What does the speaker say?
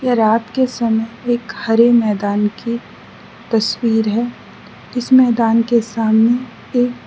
यह रात के समय एक हरे मैदान की तस्वीर है इस मैदान के सामने एक --